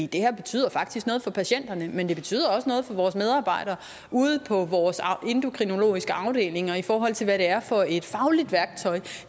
det her betyder faktisk noget for patienterne men det betyder også noget for vores medarbejdere ude på vores endokrinologiske afdelinger i forhold til hvad det er for et fagligt værktøj